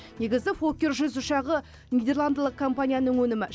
негізі фоккер жүз ұшағы нидерландылық компанияның өнімі